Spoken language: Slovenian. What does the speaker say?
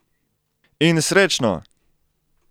In srečno!